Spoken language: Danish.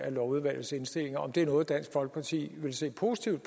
lovudvalgets indstillinger er det noget dansk folkeparti vil se positivt